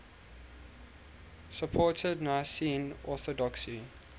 supported nicene orthodoxy